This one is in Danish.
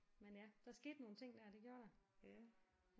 Men ja der skete nogle ting der det gjorde der